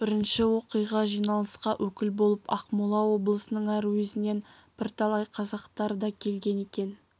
бірінші оқиға жиналысқа өкіл болып ақмола облысының әр уезінен бірталай қазақтар да келген екен